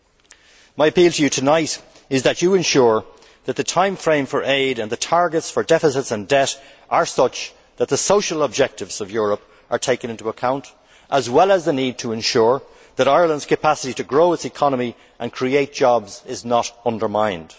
My appeal to Commissioner Rehn and Mr Trichet tonight is that they ensure that the timeframe for aid and the targets for deficits and debt are such that the social objectives of Europe are taken into account, as well as the need to ensure that Ireland's capacity to grow its economy and create jobs is not undermined.